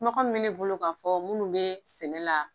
bɛ ne bolo k'a fɔ minnu bɛ sɛnɛ la.